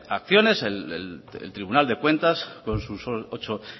acciones el tribunal de cuentas con sus ocho